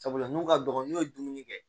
Sabula n'u ka dɔgɔ n'u ye dumuni kɛ